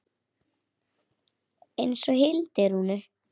Eins og Hildi Rúnu.